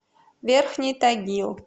верхний тагил